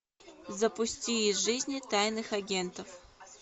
запусти из жизни тайных агентов